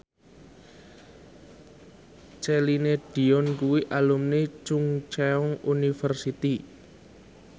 Celine Dion kuwi alumni Chungceong University